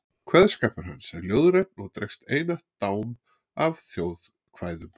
Kveðskapur hans er ljóðrænn og dregur einatt dám af þjóðkvæðum.